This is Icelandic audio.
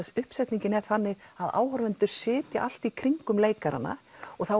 uppsetningin er þannig að áhorfendur sitja allt í kringum leikarana og þá